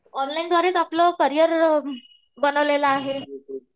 Online द्वारेच आपलं career बनवलेलं आहे.